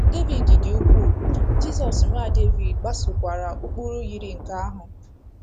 Devid dị Ukwuu — Jizọs, Nwa Devid — gbasokwara ụkpụrụ yiri nke ahụ.